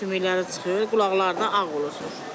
Sümükləri çıxır, qulaqları da ağ olur, surət.